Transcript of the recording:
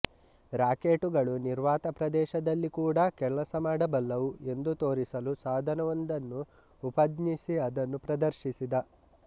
ರಾಕೆಟುಗಳು ನಿರ್ವಾತ ಪ್ರದೇಶದಲ್ಲಿ ಕೂಡ ಕೆಲಸಮಾಡಬಲ್ಲವು ಎಂದು ತೋರಿಸಲು ಸಾಧನವೊಂದನ್ನು ಉಪಜ್ಞಿಸಿ ಅದನ್ನು ಪ್ರದರ್ಶಿಸಿದ